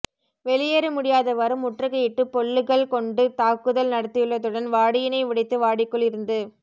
வெளியேற முடியாதவாறு முற்றுகையிட்டு பொல்லுகள் கொண்டு தாக்குதல் நடத்தியுள்ளதுடன் வாடியினை உடைத்து வாடிக்குள் இருந்து